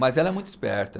Mas ela é muito esperta.